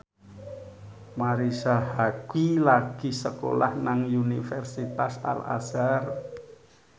Marisa Haque lagi sekolah nang Universitas Al Azhar